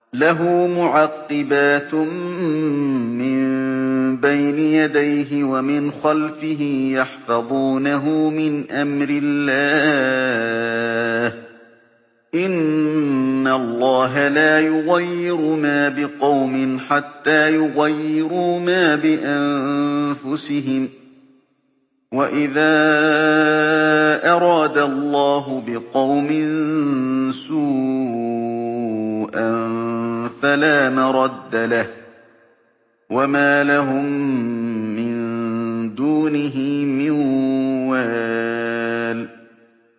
لَهُ مُعَقِّبَاتٌ مِّن بَيْنِ يَدَيْهِ وَمِنْ خَلْفِهِ يَحْفَظُونَهُ مِنْ أَمْرِ اللَّهِ ۗ إِنَّ اللَّهَ لَا يُغَيِّرُ مَا بِقَوْمٍ حَتَّىٰ يُغَيِّرُوا مَا بِأَنفُسِهِمْ ۗ وَإِذَا أَرَادَ اللَّهُ بِقَوْمٍ سُوءًا فَلَا مَرَدَّ لَهُ ۚ وَمَا لَهُم مِّن دُونِهِ مِن وَالٍ